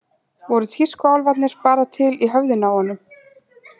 Voru tískuálfarnir bara til í höfðinu á honum?